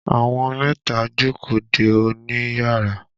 Àwọn mẹ́ta ń jókòó dè ọ́ níyàrá.